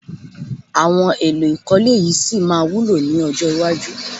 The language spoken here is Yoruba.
Àwọn èlò ìkọ́lé yìí sì máa wúlò lọ́jọ́ iwájú